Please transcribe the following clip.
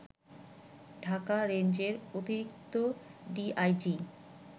ঢাকা রেঞ্জের অতিরিক্ত ডিআইজি